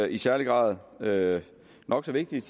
i særlig grad hvad der er nok så vigtigt